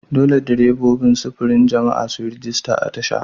Dole direbobin sufurin jama'a su yi rajista a tasha.